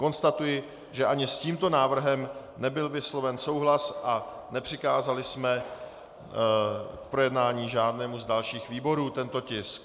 Konstatuji, že ani s tímto návrhem nebyl vysloven souhlas a nepřikázali jsme k projednání žádnému z dalších výborů tento tisk.